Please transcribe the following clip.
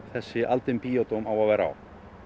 þessi á að vera á